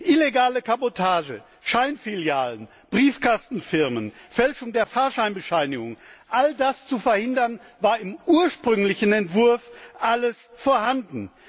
Illegale Kabotage, Scheinfilialen, Briefkastenfirmen, Fälschung der Fahrscheinbescheinigung all das zu verhindern, war im ursprünglichen Entwurf vorhanden.